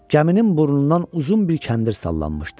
Gəminin burnundan uzun bir kəndir sallanmışdı.